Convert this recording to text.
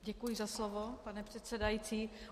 Děkuji za slovo, pane předsedající.